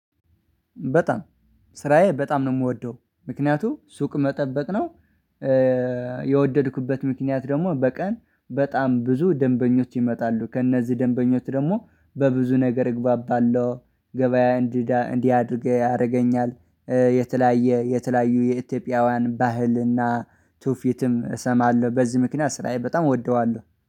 በጣም ስራዬ በጣም ነው የምወደው ምክንያቱም ሱቅ መጠበቅ ነው። የወደድኩበት ምክንያት ደግሞ በቀን በጣም ብዙ ደንበኞች ይመጣሉ ከእነዚህ ደንበኞች ደግሞ በብዙ ነገር እግባባለሁ። ገበያ እንዲህ እንዲህ አድርገህ ያደርገኛል። የተለያየ የተለያዩ የኢትዮጵያውያን ባህልና ቱፊትም እሰማለሁ በዚህ ምክንያት ስራዬ በጣም እወደዋለሁ